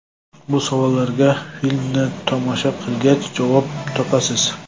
Bu savollarga filmni tomosha qilgach, javob topasiz.